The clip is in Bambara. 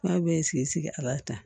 Aw bɛɛ ye sigi a b'a ta